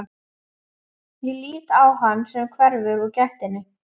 Ég lít á hann sem hverfur úr gættinni.